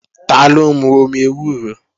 Taló ń mú omi ewúro?